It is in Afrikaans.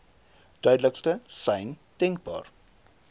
duidelikste sein denkbaar